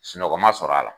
Sunɔgɔ ma sɔrɔ a la